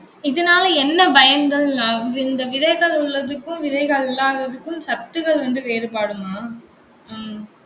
இதனால என்ன பயன்கள்னா அஹ் இந்த விதைகள் உள்ளதுக்கும், விதைகள் இல்லாததுக்கும், சத்துகள் வந்து வேறுபாடுமா? உம்